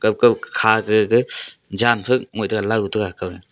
akao kha te gaga jankhak ngaoi tai low tega kao.